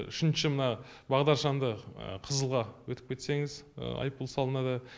үшінші мына бағдаршамды қызылға өтіп кетсеңіз айыппұл салынады